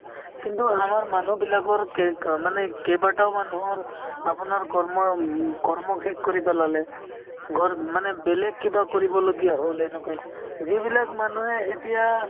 কিন্তু আমাৰ মানুহবিলাকৰ কেক অ মানে কেইবাটাও মানুহৰ আপোনাৰ কৰ্ম উম কৰ্ম শেষ কৰি পেলালে ঘৰ মানে বেলেগ কিবা কৰিবলগীয়া হ'ল এনেকুৱাই যিবিলাক মানুহে এতিয়া